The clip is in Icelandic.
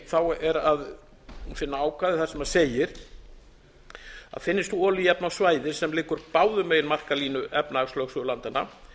og eitt er að finna ákvæði sem segir finnist olíuefni á svæði sem liggur báðum megin markalínu efnahagslögsögu landanna